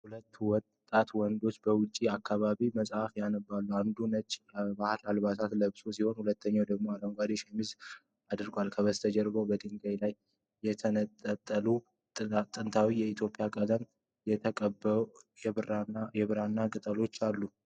ሁለት ወጣት ወንዶች በውጭ አካባቢ መጽሐፍ ያነባሉ። አንዱ ነጭ የባህል ልብስ ለብሶ ሲሆን፣ ሁለተኛው ደግሞ አረንጓዴ ሸሚዝ አድርጓል። ከበስተጀርባ በድንጋይ ላይ የተንጠለጠሉ ጥንታዊ የኢትዮጵያ ቀለም የተቀቡ የብራና ጥቅሎች ይታያሉ።